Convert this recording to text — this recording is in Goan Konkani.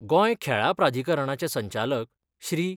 गोंय खेळां प्राधिकरणाचे संचालक श्री.